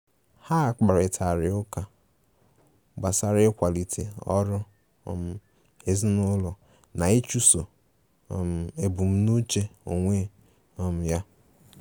Ha kparịtari ụka gbasara ịkwalite ọrụ um ezinụlọ na ịchụso um ebumnuche onwe um ya.